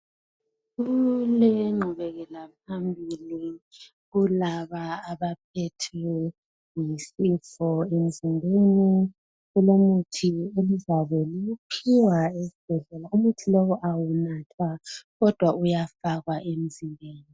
Kulengqubekela phambili kulaba abaphethwe yisifo emzimbeni , kulomuthi ozakuphiwa esibhedlela ,umuthi lowo awunathwa kodwa uyafakwa emzimbeni